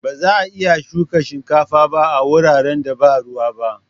Ba za'a iya shuka shinkafa ba a wuraren da ba ruwa ba.